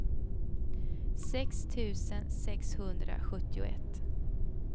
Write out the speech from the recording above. sex tusen sexhundrasjuttioett